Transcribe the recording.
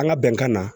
An ka bɛnkan na